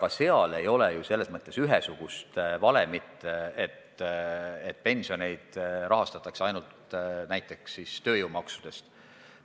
Ka selle kohta ei ole ju ühesugust valemit, et näiteks rahastatakse pensioneid ainult tööjõumaksudest.